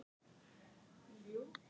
sagði mamma alltaf.